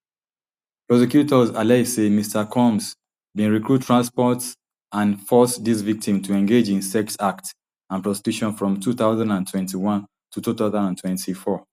prosecutors allege saymr combs bin recruit transport and force dis victim to engage in sex acts and prostitution from two thousand and twenty-one to two thousand and twenty-four